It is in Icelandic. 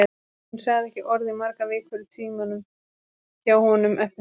Hún sagði ekki orð í margar vikur í tímunum hjá honum eftir það.